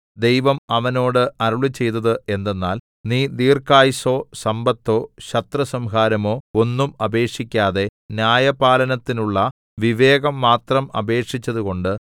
ദൈവം അവനോട് അരുളിച്ചെയ്തത് എന്തെന്നാൽ നീ ദീർഘായുസ്സോ സമ്പത്തോ ശത്രുസംഹാരമോ ഒന്നും അപേക്ഷിക്കാതെ ന്യായപാലനത്തിനുള്ള വിവേകം മാത്രം അപേക്ഷിച്ചതുകൊണ്ട്